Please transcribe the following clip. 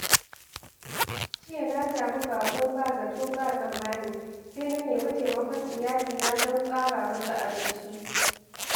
Jiya na sami baƙo ba zato ba tsammani, sai na nemi taimakon iyalina don tsara masa abinci.